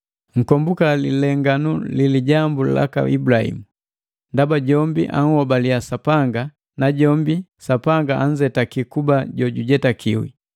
Nkombuka lilenganu lilijambu laka Ibulahimu: Ndaba jombi anhobaliya Sapanga, najombi Sapanga anzetakiya kuba jojujetakiwi.